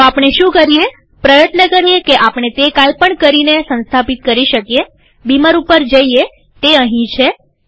તો આપણે શું કરીએપ્રયત્ન કરીએ કે આપણે તે કાંઈ પણ કરીને સંસ્થાપિત કરી શકીએબીમર ઉપર જઈએતે અહીં છે